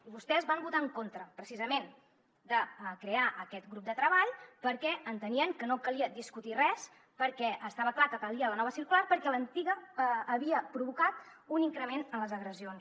i vostès van votar en contra precisament de crear aquest grup de treball perquè entenien que no calia discutir res perquè estava clar que calia la nova circular perquè l’antiga havia provocat un increment en les agressions